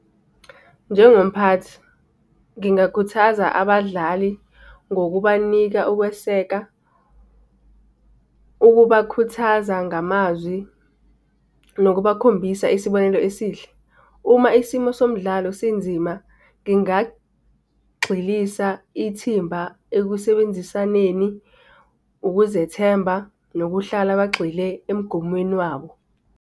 Njengomphathi, ngingakhuthaza abadlali ngokubanika ukweseka, ukubakhuthaza ngamazwi, nokubakhombisa isibonelo esihle. Uma isimo somdlalo sinzima, ngingagxilisa ithimba ekusebenzisaneni, ukuzethemba nokuhlala bagxile emigomweni wabo.